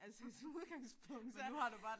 Altså som udgangspunkt så